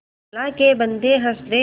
अल्लाह के बन्दे हंस दे